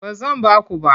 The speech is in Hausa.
Ba zan ba ku ba.